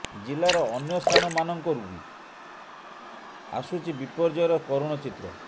ଜିଲ୍ଲାର ଅନ୍ୟ ସ୍ଥାନମାନଙ୍କରୁ ବି ଆସୁଛି ବିପର୍ଯ୍ୟୟର କରୁଣ ଚିତ୍ର